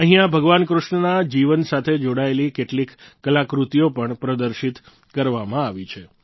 અહીંયા ભગવાન કૃષ્ણના જીવન સાથે જોડાયેલી કેટલીક કલાકૃતિઓ પણ પ્રદર્શિત કરવામાં આવી છે